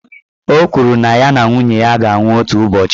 Ọ kwụrụ na ya na nwunye ya ga-anwụ otu ụbọchị.